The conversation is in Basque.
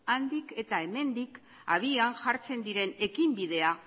handik eta hemendik abian jartzen diren ekinbidea